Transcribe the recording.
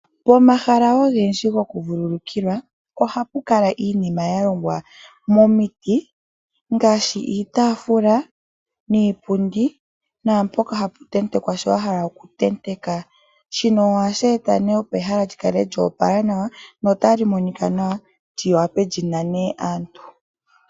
Pomahala ogendji gokuvululukilwa oha pu kala iinima ya longwa momiti ngaashi iitafula, iipundi naampoka ha pu tentekwa shoka wa hala okutenteka. Shino ohashi eta opo ehala lyi kale lyo opala nawa nota li monika nawa lyi wape lyinane aantu.